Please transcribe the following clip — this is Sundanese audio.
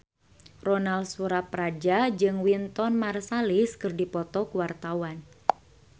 Ronal Surapradja jeung Wynton Marsalis keur dipoto ku wartawan